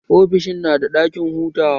Ofishin na da ɗakin hutawa